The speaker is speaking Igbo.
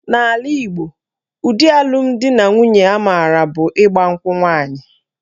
N'ala Igbo, ụdị alụmdinanwunye a maara bụ ịgba nkwụ nwaanyị